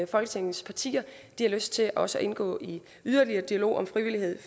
folketingets partier har lyst til også at indgå i yderligere dialog om frivillighed